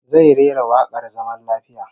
Zai rera wakar zaman lafiya